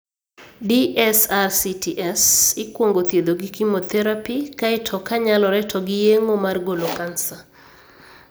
DSRCTs ikwongo thiedho gi chemotherapy, kae to ka nyalore to gi yeng'o mar golo kansa.